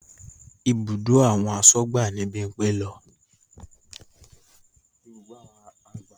Ibùdó àwọn asọ́gbà ni Bímpé lọ